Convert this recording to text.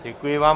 Děkuji vám.